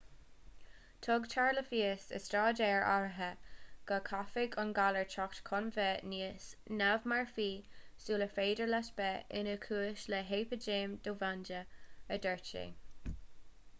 tugtar le fios i staidéir áirithe go gcaithfidh an galar teacht chun bheith níos neamh-mharfaí sular féidir leis bheith ina chúis le heipidéim dhomhanda a dúirt sé